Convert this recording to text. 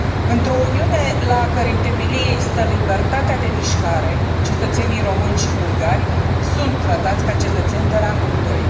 Într o Uniune la a cărei temelie stă libertatea de mișcare, cetățenii români și bulgari sunt tratați ca cetățeni de rangul doi.